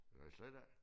Nej slet ikke